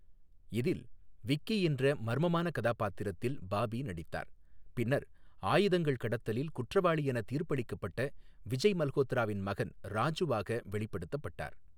இதில் விக்கி என்ற மர்மமான கதாபாத்திரத்தில் பாபி நடித்தார், பின்னர் ஆயுதங்கள் கடத்தலில் குற்றவாளி என தீர்ப்பளிக்கப்பட்ட விஜய் மல்கோத்ராவின் மகன் ராஜுவாக வெளிப்படுத்தப்பட்டார்.